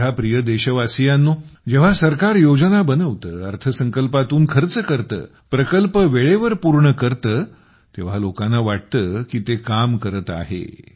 माझ्या प्रिय देशवासियांनो जेव्हा सरकार योजना बनवते अर्थसंकल्पातून खर्च करते प्रकल्प वेळेवर पूर्ण करते तेव्हा लोकांना वाटते की ते काम करत आहे